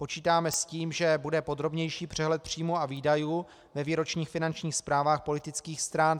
Počítáme s tím, že bude podrobnější přehled příjmů a výdajů ve výročních finančních zprávách politických stran.